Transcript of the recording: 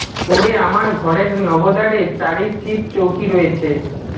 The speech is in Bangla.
ওরে আমার ঘরের নবদ্বারে চারি শিব চৌকি রয়েছে